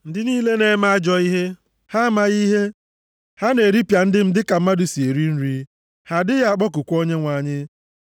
Ndị niile na-eme ajọ ihe, ha amaghị ihe? Ha na-eripịa ndị m dịka mmadụ si eri nri, ha adịghị akpọkukwa Onyenwe anyị.